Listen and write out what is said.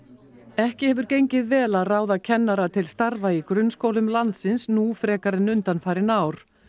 ekki hefur gengið vel að ráða kennara til starfa í grunnskólum landsins nú frekar en undanfarin ár